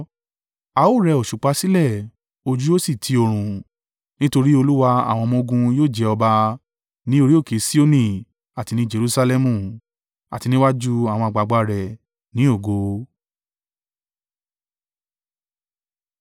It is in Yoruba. A ó rẹ òṣùpá sílẹ̀, ojú yóò sì ti oòrùn; nítorí Olúwa àwọn ọmọ-ogun yóò jẹ ọba ní orí òkè Sioni àti ní Jerusalẹmu, àti níwájú àwọn àgbàgbà rẹ ní ògo.